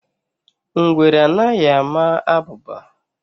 Ngwere anaghị ama abụba